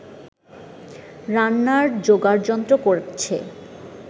রান্নার জোগাড়যন্ত্র করছে